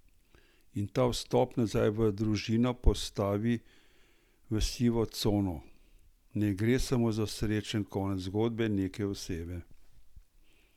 In ta vstop nazaj v družino postavi v sivo cono: "Ne gre samo za srečen konec zgodbe neke osebe.